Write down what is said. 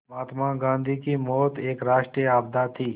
महात्मा गांधी की मौत एक राष्ट्रीय आपदा थी